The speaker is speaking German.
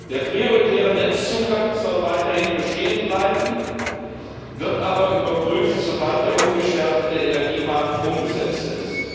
Der prioritäre Netzzugang soll weiterhin bestehen bleiben, wird aber überprüft, sobald der umgestaltete Energiemarkt umgesetzt ist.